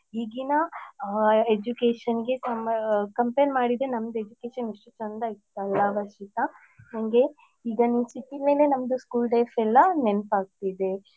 ಈಗಿನ educationನಿಗೆ ನಮ್ಮಾ compare ಮಾಡಿದ್ರೆ ನಮ್ದು education ಎಷ್ಟು ಚಂದ ಇತ್ತಲ್ಲಾ ವರ್ಷಿತಾ. ನನ್ಗೆ ಈಗ ನೀನ್ಸಿಕ್ಕಿದ್ ಮೇಲೆ ನಂದು school days ಎಲ್ಲ ನೆನ್ಪಾಗ್ತಿದೆ.